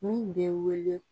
Mun bɛ wele